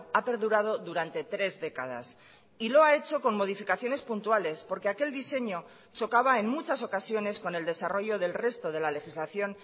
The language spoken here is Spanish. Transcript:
ha perdurado durante tres décadas y lo ha hecho con modificaciones puntuales porque aquel diseño chocaba en muchas ocasiones con el desarrollo del resto de la legislación